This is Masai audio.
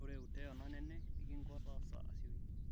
ore uteo naneng nikingo taasa asioki